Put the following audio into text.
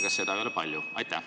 Kas seda ei ole palju?